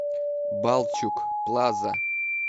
балчуг плаза